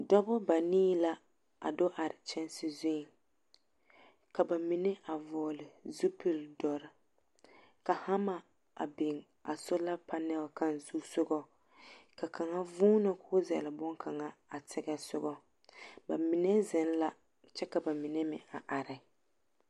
Dͻbͻ banii la a do are kyԑnse zu, ka ba mine a vͻgele zupili dͻre. ka hama a biŋ a sola panԑl kaŋa zu sogͻ. Ka kaŋa vuuno ka o zԑle boŋkaŋa a teŋԑ poͻ. Ba mine zeŋ la, kyԑ ka ba mine a are.